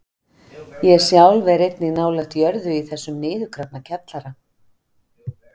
Ég sjálf er einnig nálægt jörðu í þessum niðurgrafna kjallara.